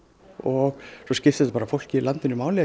og svo skiptir þetta bara fólkið í landinu máli